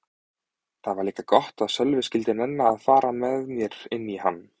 Það var líka gott að Sölvi skyldi nenna að fara með mér inn í hann.